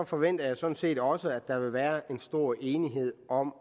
forventer jeg sådan set også at der vil være stor enighed om